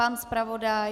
Pan zpravodaj?